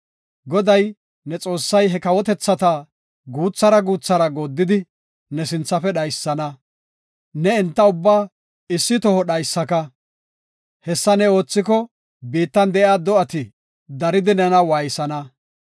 Goday, ne Xoossay he kawotethata guuthara guuthara gooddidi, ne sinthafe dhaysana. Ne enta ubbaa issi toho dhaysaka; hessa ne oothiko, biittan de7iya do7ati daridi nena waaysana.